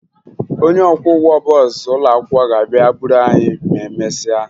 Onye ọkwọụgbọ bọọsụ ụlọakwụkwọ ga-abịa buru anyị ma emesịa